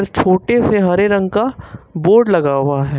छोटे से हरे रंग का बोर्ड लगा हुआ है।